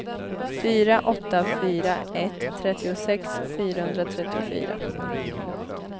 fyra åtta fyra ett trettiosex fyrahundratrettiofyra